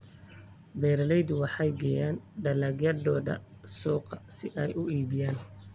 Beeraleydu waxay geeyaan dalagyadooda suuqa si ay u iibgeeyaan.